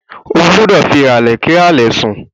Ó gbúdọ̀ fi ìhàlẹ́ kí hàlẹ̀ sùn.